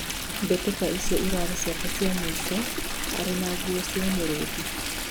mbĩtika icio irarĩ ciake cia mũico arĩ na nguo cia Muruthi